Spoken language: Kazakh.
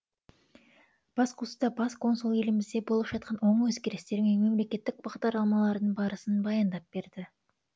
басқосуда бас консул елімізде болып жатқан оң өзгерістер мен мемлекеттік бағдарламалардың барысын баяндап берді